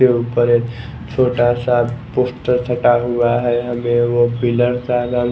के ऊपर एक छोटा सा पोस्टर छटा हुआ है हमें वो पिलर सा--